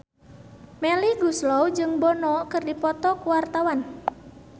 Melly Goeslaw jeung Bono keur dipoto ku wartawan